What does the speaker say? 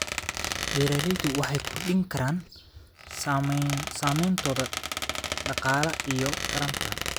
Beeraleydu waxay kordhin karaan saameyntooda dhaqaale iyagoo taranta.